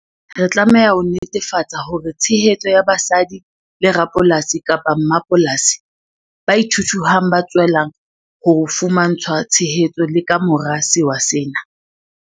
Re tlameha ho netefatsa hore tshehetso ya basadi le rapolasi-mmapolasi ba ithuthuhang ba tswella ho fumantshwa tshehetso le ka mora sewa sena.